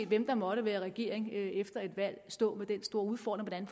hvem der måtte være i regering efter et valg stå med den store udfordring